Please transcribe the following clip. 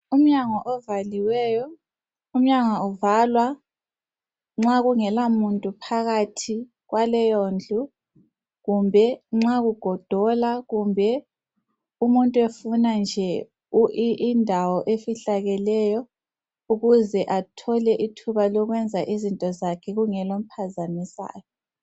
Umnyango ovaliweyo, umnyango uvalwa nxa kungela muntu phakathi kwaleyo ndlu kumbe nxa kugodola kumbe umuntu efuna nje indawo efihlakeleyo ukuze athole ithuba lokwenza izinto zakhe kungela omphazamisayo